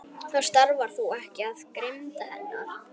Það stafar þó ekki af grimmd hennar.